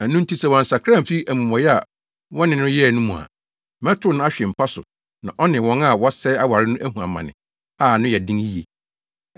Ɛno nti, sɛ wɔansakra amfi amumɔyɛ a wɔne no yɛe no mu a, mɛtow no ahwe mpa so na ɔno ne wɔn a wɔsɛe aware no ahu amane a ano yɛ den yiye.